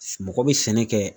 Mɔgɔ be sɛnɛ kɛ